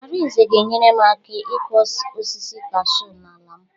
Arinze ga-enyere m aka ịkụ osisi kashuu n'ala m.